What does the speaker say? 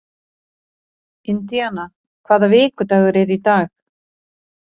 Indiana, hvaða vikudagur er í dag?